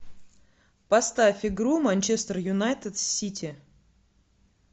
поставь игру манчестер юнайтед с сити